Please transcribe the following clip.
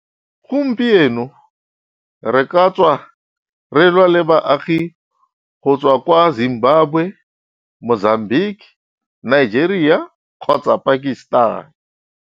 Gompieno, re ka tswa re lwa le baagi go tswa kwa Zimbabwe, Mozambique, Nigeria kgotsa Pakistan.